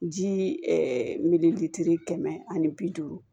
Jii kɛmɛ ani bi duuru